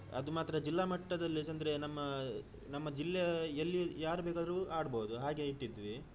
ಅದು ಮಾತ್ರ ಜಿಲ್ಲಾ ಮಟ್ಟದಲ್ಲಿ ಏಕೆಂದ್ರೆ ನಮ್ಮಾ ನಮ್ಮ ಜಿಲ್ಲೆಯ ಎಲ್ಲಿ ಯಾರ್ಬೇಕಾದ್ರು ಆಡ್ಬಹುದು ಹಾಗೆ ಇಟ್ಟಿದ್ವಿ.